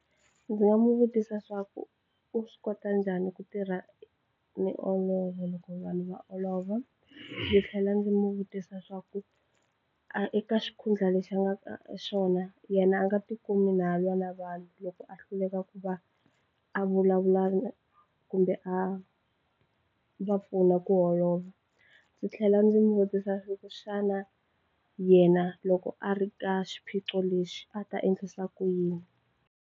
Ndzi nga n'wi vutisa swa ku u swi kota njhani ku tirha loko vanhu va olova ndzi tlhela ndzi mu vutisa swa ku a eka xikhundla lexi a nga ka xona yena a nga ti kumi na lwa na vanhu loko a hluleka ku va a vulavula na kumbe a va pfuna ku holova ndzi tlhela ndzi n'wi vutisa swa ku xana yena loko a ri ka xiphiqo lexi a ta endlisa ku yini.